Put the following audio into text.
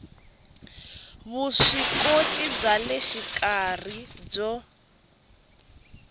vuswikoti bya le xikarhi byo